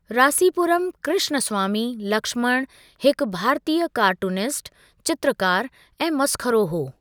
रासीपुरम कृष्णस्वामी लक्ष्मण हिकु भारतीय कार्टूनिस्ट, चित्रकार ऐं मसख़रो हो।